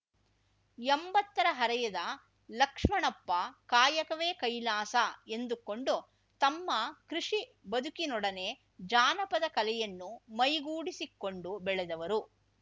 ಎಂಬತ್ತರ ಹರೆಯದ ಲಕ್ಷ್ಮಣಪ್ಪ ಕಾಯಕವೇ ಕೈಲಾಸ ಎಂದುಕೊಂಡು ತಮ್ಮ ಕೃಷಿ ಬದುಕಿನೊಡನೆ ಜಾನಪದ ಕಲೆಯನ್ನು ಮೈಗೂಡಿಸಿಕೊಂಡು ಬೆಳೆದವರು